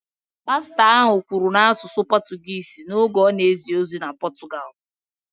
Pastọ ahụ kwuru n’asụsụ Pọtụgụisi n’oge ọ na-ezi ozi na Pọtụgalụ